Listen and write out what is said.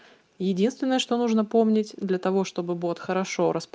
единственное что нужно помнить для того чтобы бот хорошо распо